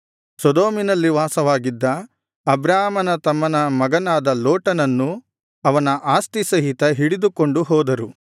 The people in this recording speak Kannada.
ಸೊದೋಮಿನಲ್ಲಿ ವಾಸವಾಗಿದ್ದ ಅಬ್ರಾಮನ ತಮ್ಮನ ಮಗನಾದ ಲೋಟನನ್ನೂ ಅವನ ಆಸ್ತಿ ಸಹಿತ ಹಿಡಿದುಕೊಂಡು ಹೋದರು